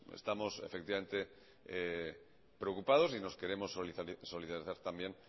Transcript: estamos preocupados y no queremos solidarizar también